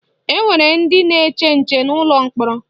Enwere ndị na-eche nche n'ụlọ mkpọrọ